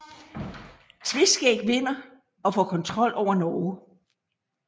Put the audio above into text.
Tveskæg vinder og får kontrol over Norge